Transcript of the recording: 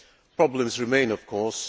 Problems remain, of course.